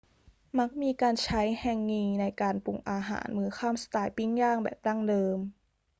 มักมีการใช้แฮงงีในการปรุงอาหารมื้อค่ำสไตล์ปิ้งย่างแบบดั้งเดิม